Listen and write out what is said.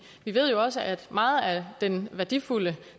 vi ved jo også at meget af den værdifulde